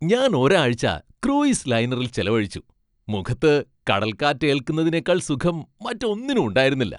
ഞാൻ ഒരാഴ്ച ക്രൂയിസ് ലൈനറിൽ ചെലവഴിച്ചു, മുഖത്ത് കടൽ കാറ്റേല്ക്കുന്നതിനേക്കാൾ സുഖം മറ്റൊന്നിനും ഉണ്ടായിരുന്നില്ല.